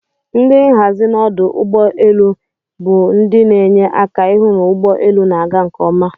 Ndi nhazi n'ọdụ ụgbọ elu bundin'enye aka ihụ n'ụgbọ elu na aga nke oma.